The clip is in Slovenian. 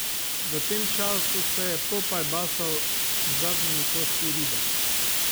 V tem času se je Popaj basal z zadnjimi kosi ribe.